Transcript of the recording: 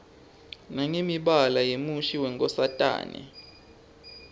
nangemibala yemushi yenkosatane